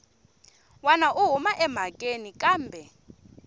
wana u huma emhakeni kambe